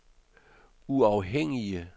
uafhængige